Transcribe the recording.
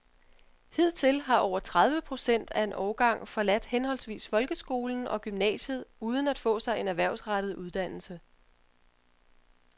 Hidtil har over tredive procent af en årgang forladt henholdsvis folkeskolen og gymnasiet uden at få sig en erhvervsrettet uddannelse.